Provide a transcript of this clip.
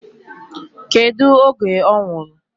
Kedu oge ọ nwụrụ?